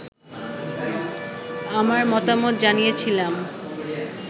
আমার মতামত জানিয়েছিলাম